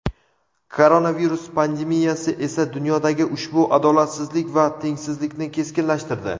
Koronavirus pandemiyasi esa dunyodagi ushbu adolatsizlik va tengsizlikni keskinlashtirdi.